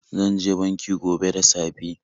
Zan je banki gobe da safe.